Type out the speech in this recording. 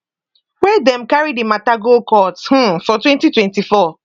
wey dem carry di mata go court um for 2024